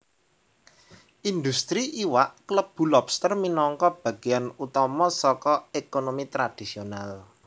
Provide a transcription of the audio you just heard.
Indhustri iwak klebu lobster minangka bagéyan utama saka ékonomi tradisional